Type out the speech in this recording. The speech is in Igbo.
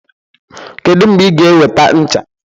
Kedu mgbe ị ga-eweta ncha?